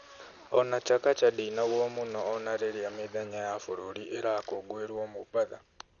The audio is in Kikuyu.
O na Chakacha ndĩinagwo mũno o na rĩrĩa mĩthenya ya bũrũri irakũngũĩrwo Mombatha.